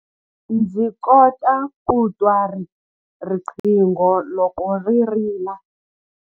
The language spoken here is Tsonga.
Ndzi kota ku twa riqingho loko ri rila.